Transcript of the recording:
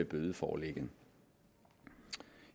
bødeforlægget